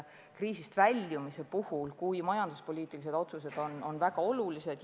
Kriisist väljumise puhul on majanduspoliitilised otsused väga olulised.